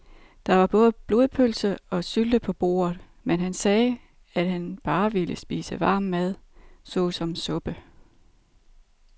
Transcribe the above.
Der var både blodpølse og sylte på bordet, men han sagde, at han bare ville spise varm mad såsom suppe.